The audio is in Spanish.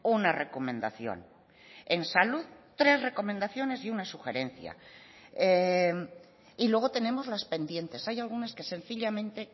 una recomendación en salud tres recomendaciones y una sugerencia y luego tenemos las pendientes hay algunas que sencillamente